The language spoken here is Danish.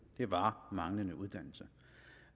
var manglende uddannelse